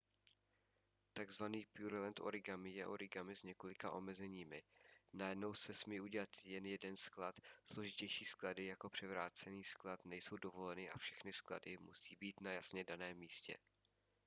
tzv. pureland origami je origami s několika omezeními: najednou se smí udělat jen jeden sklad složitější sklady jako převrácený sklad nejsou dovoleny a všechny sklady musí být na jasně daném místě